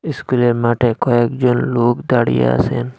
ইস্কুলের মাঠে কয়েকজন লোক দাঁড়িয়ে আসেন।